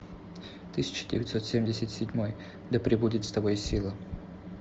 тысяча девятьсот семьдесят седьмой да прибудет с тобой сила